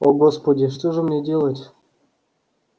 о господи что же мне делать